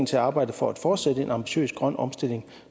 til at arbejde for at fortsætte en ambitiøs grøn omstilling